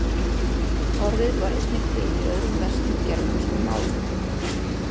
Orðið var einnig til í öðrum vestur-germönskum málum.